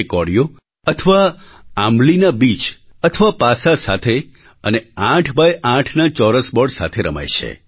તે કોડીઓ અથવા આંબલીના બીજ અથવા પાસા સાથે અને 8X8ના ચોરસ બૉર્ડ સાથે રમાય છે